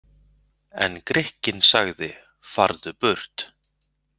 En Grikkinn sagði: Farðu burt!